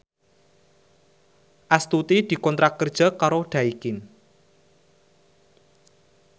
Astuti dikontrak kerja karo Daikin